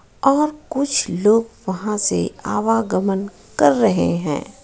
और कुछ लोग वहां से आवागमन कर रहे हैं.